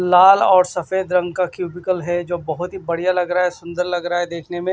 लाल और सफेद रंग का क्यूबिकल है जो बहुत ही बढ़िया लग रहा है सुंदर लग रहा है देखने में--